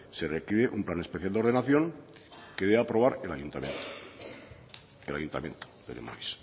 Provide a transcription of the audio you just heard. se requiere un plan especial de ordenación que debe de aprobar el ayuntamiento el ayuntamiento de lemoiz